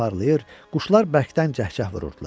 Günəş parlayır, quşlar bərkdən cəh-cəh vururdular.